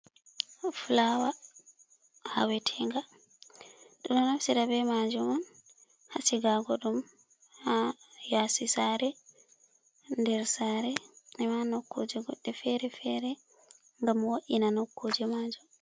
Flawa aawetenga ɗo naftira be majum an ha sigago ɗum ha yasi sare, nder sare nokkuje godde fere-fere, ngam wo’ina nokkuje majum.